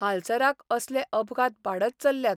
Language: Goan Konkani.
हालसराक असले अपघात वाडत चल्ल्यात.